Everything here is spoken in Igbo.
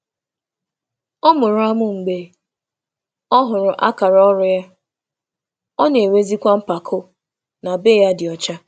Ọ mere um mkpịsị ọnụ um mgbe ọ hụrụ etu ọ gara n’ihu n’imecha, na-enwe um mpako n’ụlọ dị ọcha.